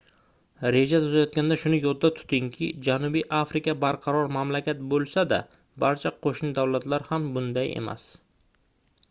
reja tuzayotganda shuni yodda tutingki janubiy afrika barqaror mamlakat boʻlsa-da barcha qoʻshni davlatlar ham bunday emas